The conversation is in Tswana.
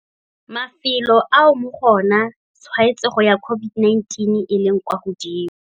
Mafelo ao mo go ona tshwaetsego ya COVID-19 e leng kwa godimo.